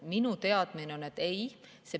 Minu teadmine on, et ei.